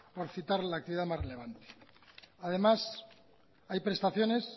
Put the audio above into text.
por citar la actividad más relevante además hay prestaciones